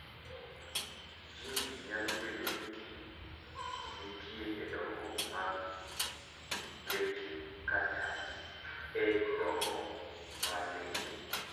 Jin ni nyalo bedo ni nitie e dongruok mar leche kata e dongo mar leche.